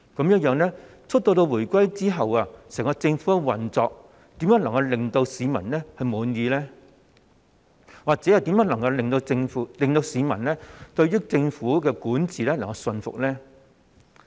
因此自回歸後，整個政府的運作又怎會令市民感到滿意，或怎會令市民對政府的管治感到信服呢？